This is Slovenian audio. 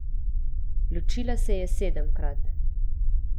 Ločila se je sedemkrat.